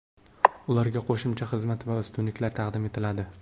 Ularga qo‘shimcha xizmat va ustunliklar taqdim etiladi.